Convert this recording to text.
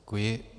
Děkuji.